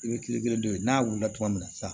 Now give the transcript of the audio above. I bɛ kile kelen dɔ ye n'a wulila tuma min na sisan